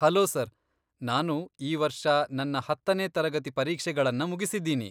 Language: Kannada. ಹಲೋ ಸರ್, ನಾನು ಈ ವರ್ಷ ನನ್ನ ಹತ್ತನೇ ತರಗತಿ ಪರೀಕ್ಷೆಗಳನ್ನ ಮುಗಿಸಿದ್ದೀನಿ.